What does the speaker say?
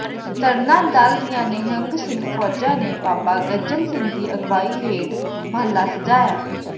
ਤਰਨਾ ਦਲ ਦੀਆਂ ਨਿਹੰਗ ਸਿੰਘ ਫ਼ੌਜਾਂ ਨੇ ਬਾਬਾ ਗੱਜਣ ਸਿੰਘ ਦੀ ਅਗਵਾਈ ਹੇਠ ਮਹੱਲਾ ਸਜਾਇਆ